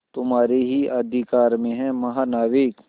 तुम्हारे ही अधिकार में है महानाविक